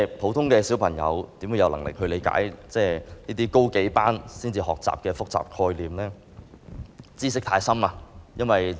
普通的小朋友怎會有能力理解高數個年級才學習的複雜概念、艱深知識？